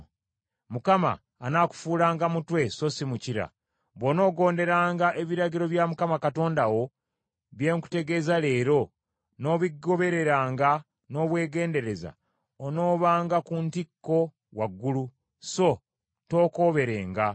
Mukama anaakufuulanga mutwe so si mukira. Bw’onoogonderanga ebiragiro bya Mukama Katonda wo bye nkutegeeza leero, n’obigobereranga n’obwegendereza, onoobanga ku ntikko waggulu, so tookooberenga.